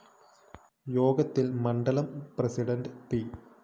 യോഗത്തില്‍ മണ്ഡലം president P